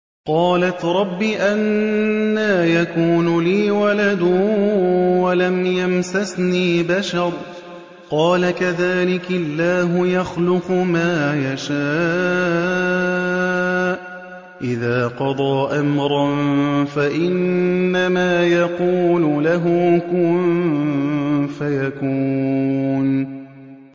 قَالَتْ رَبِّ أَنَّىٰ يَكُونُ لِي وَلَدٌ وَلَمْ يَمْسَسْنِي بَشَرٌ ۖ قَالَ كَذَٰلِكِ اللَّهُ يَخْلُقُ مَا يَشَاءُ ۚ إِذَا قَضَىٰ أَمْرًا فَإِنَّمَا يَقُولُ لَهُ كُن فَيَكُونُ